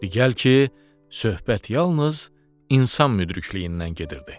Di gəl ki, söhbət yalnız insan müdrikliyindən gedirdi.